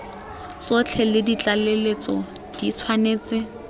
tsotlhe le ditlaleletso di tshwanetse